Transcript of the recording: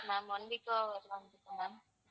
ma'am one week ma'am ma'am